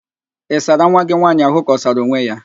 Ị sara nwa gị nwaanyị ahụ ka ọ sara onwe ya?